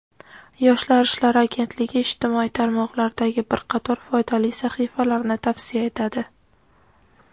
Yoshlar ishlari agentligi ijtimoiy tarmoqlardagi bir qator foydali sahifalarni tavsiya etadi.